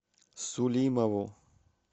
сулимову